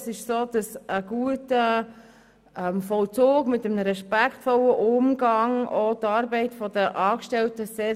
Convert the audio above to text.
Ein guter Vollzug mit einem respektvollen Umgang erleichtert die Arbeit der Angestellten sehr.